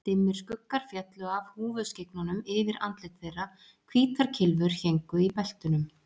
Dimmir skuggar féllu af húfuskyggnunum yfir andlit þeirra, hvítar kylfur héngu í beltunum.